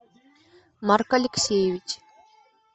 марк алексеевич